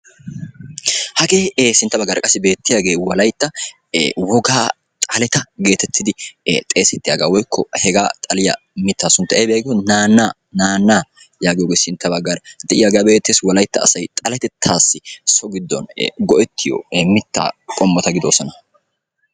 Hagee ee sintta baggaara beettiyagee wolaytta wogaa xaleta geetettidi xeesettiyagaa woykko hegaa xaliya mittaa sunttay aybee giikko naannaa, naannaa sintta baggaara de'iyogaa be'eettees. Wolaytta asay xaletettaassi so giddon go'ettiyo ee mittaa qommota gidoosona.